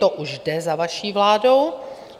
To už jde za vaší vládou.